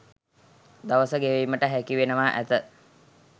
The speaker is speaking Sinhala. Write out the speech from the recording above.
දවස ගෙවීමට හැකිවනවා ඇත.